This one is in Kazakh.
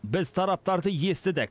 біз тараптарды естідік